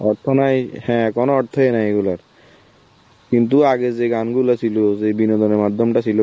অর্থ নাই, হ্যাঁ কোনো অর্থই নেই এইগুলোর, কিন্তু আগে যেই গানগুলো ছিল, যে বিনোদনের মাধ্যমটা ছিল